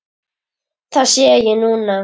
Það sé ég núna.